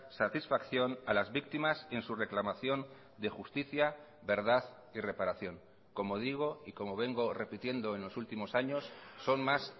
satisfacción a las víctimas en su reclamación de justicia verdad y reparación como digo y como vengo repitiendo en los últimos años son más